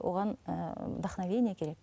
оған ыыы вдохновение керек